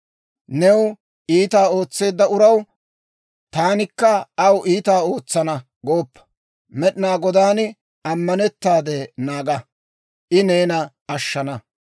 New iitaa ootseedda uraw, «taanikka aw iitaa ootsana» gooppa; Med'inaa Godaan ammanettaade naaga; I neena ashshana.